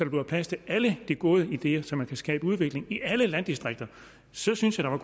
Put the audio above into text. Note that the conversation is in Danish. bliver plads til alle de gode ideer så man kan skabe udvikling i alle landdistrikter så synes jeg